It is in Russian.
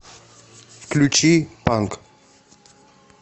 включи панк